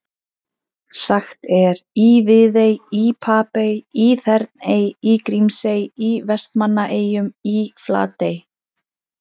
Sagt er í Viðey, í Papey, í Þerney, í Grímsey, í Vestmannaeyjum, í Flatey.